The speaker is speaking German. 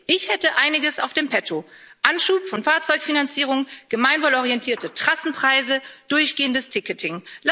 Ich hätte einiges in petto Anschub von Fahrzeugfinanzierung, gemeinwohlorientierte Trassenpreise, durchgehendes Ticketing.